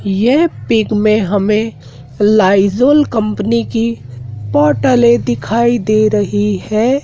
ये पिक में हमें लाइज़ॉल कंपनी की बॉटले दिखाई दे रही है।